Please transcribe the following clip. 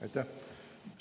Aitäh!